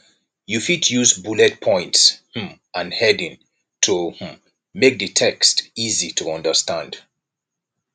you fit use bullet points um and heading to um make di text easy to understand